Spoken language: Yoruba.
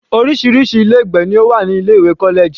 Orísirísi ilé ìgbé ló wà ní ilé ìwé college.